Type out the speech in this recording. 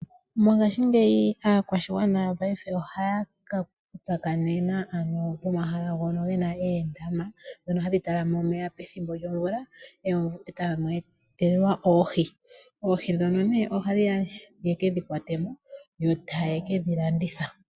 Mongashingeyi aakwashigwana mopaife ohaya ka tsakanena ano pomahala mpoka pena oondama dhono hadhi talama omeya pethimbo lyovula e tamu etelelwa oohi. Oohi dhono nee ohadhi ya ye kedhi kwate mo yo taya kedhi landitha.